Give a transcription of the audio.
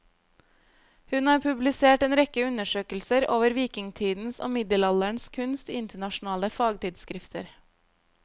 Hun har publisert en rekke undersøkelser over vikingtidens og middelalderens kunst i internasjonale fagtidsskrifter.